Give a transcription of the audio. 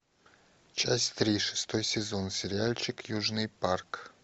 часть три шестой сезон сериальчик южный парк